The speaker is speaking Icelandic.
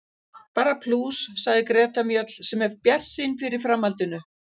Bara plús, sagði Greta Mjöll sem er bjartsýn fyrir framhaldinu.